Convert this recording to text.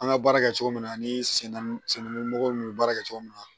An ka baara kɛ cogo min na ani sen nɔgɔ n'u bɛ baara kɛ cogo min na